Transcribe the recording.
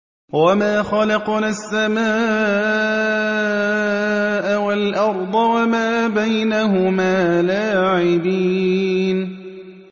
وَمَا خَلَقْنَا السَّمَاءَ وَالْأَرْضَ وَمَا بَيْنَهُمَا لَاعِبِينَ